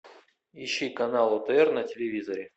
ищи канал отр на телевизоре